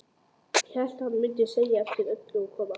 Hélt hann mundi sjá eftir öllu og koma aftur.